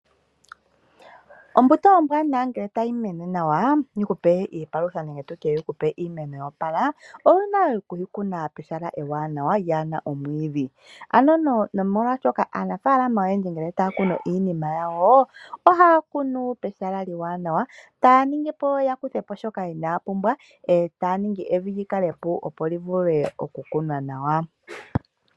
Ombuto ombwaanawa ngele tayi mene nawa yi ku pe iipalutha nenge iimeno yo opala owuna oku yi kuna apehala ewanawa lyaa na omwiidhi nomolwashoka aanafaalama oyendji ngele taya kunu iimeno yawo ohaya kunu pehala ewanawa taya kutha po shoka inaya pumbwa yo taya ningi evi li kale epu, opo li vule okukunwa nawa.